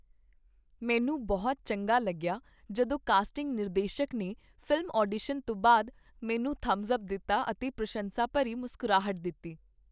ਮੈਨੂੰ ਬਹੁਤ ਚੰਗਾ ਲੱਗਿਆ ਜਦੋਂ ਕਾਸਟਿੰਗ ਨਿਰਦੇਸ਼ਕ ਨੇ ਫ਼ਿਲਮ ਆਡੀਸ਼ਨ ਤੋਂ ਬਾਅਦ ਮੈਨੂੰ ਥੰਬਸ ਅੱਪ ਦਿੱਤਾ ਅਤੇ ਪ੍ਰਸ਼ੰਸਾ ਭਰੀ ਮੁਸਕਰਾਹਟ ਦਿੱਤੀ।